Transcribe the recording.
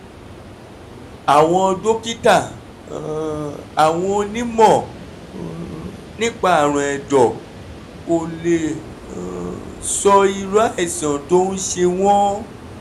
àwọn dókítà um (àwọn onímọ̀ um nípa àrùn ẹ̀dọ̀) kò lè um sọ irú àìsàn tó ń ṣe wọn